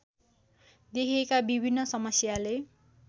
देखिएका विभिन्न समस्याले